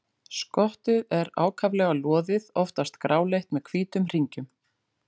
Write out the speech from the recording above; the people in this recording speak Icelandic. Skottið er ákaflega loðið, oftast gráleitt með hvítum hringjum.